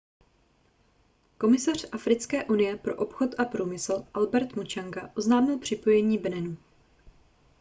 komisař africké unie pro obchod a průmysl albert muchanga oznámil připojení beninu